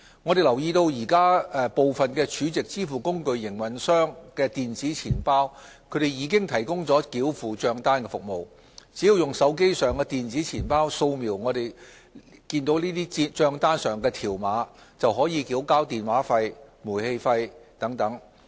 我們留意到現時部分儲值支付工具營運商的電子錢包已提供繳付帳單服務，只要用手機上的電子錢包掃描帳單上的條碼，便可以繳交電話費、煤氣費等。